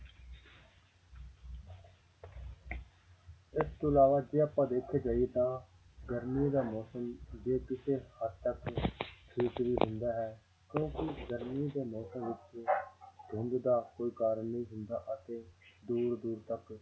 ਇਸ ਤੋਂ ਇਲਾਵਾ ਜੇ ਆਪਾਂ ਦੇਖਿਆ ਜਾਈਏ ਤਾਂ ਗਰਮੀ ਦਾ ਮੌਸਮ ਜੇ ਕਿਸੇ ਹੱਦ ਤੱਕ ਠੀਕ ਵੀ ਹੁੰਦਾ ਹੈ ਕਿਉਂਕਿ ਗਰਮੀ ਦੇ ਮੌਸਮ ਵਿੱਚ ਧੁੰਦ ਦਾ ਕੋਈ ਕਾਰਨ ਨੀ ਹੁੰਦਾ ਅਤੇ ਦੂਰ ਦੂਰ ਤੱਕ